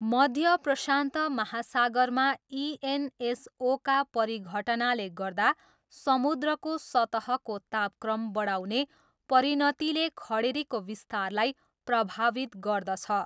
मध्य प्रशान्त महासागरमा इएनएसओका परिघटनाले गर्दा समुद्रको सतहको तापक्रम बढाउने परिणतिले खडेरीको विस्तारलाई प्रभावित गर्दछ।